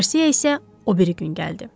Qarsiya isə o biri gün gəldi.